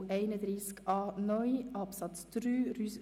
Abstimmung (Art. 31a Abs. 3 [neu];